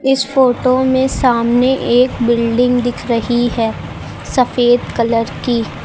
इस फोटो में सामने एक बिल्डिंग दिख रही है सफेद कलर की।